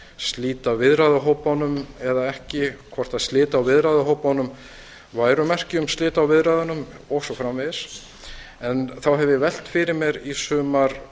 slíta viðræðuhópunum eða ekki hvort slit á viðræðuhópunum væru merki um slit á viðræðunum og svo framvegis en þá hef ég velt fyrir mér í sumar